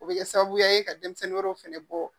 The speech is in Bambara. O bɛ kɛ sababuya ye ka denmisɛnnin wɛrɛw fana bɔ